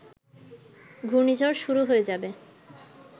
ঘুর্ণিঝড় শুরু হয়ে যাবে